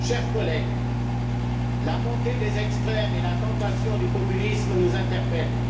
Chers collègues, la montée des extrêmes et la tentation du populisme nous interpellent.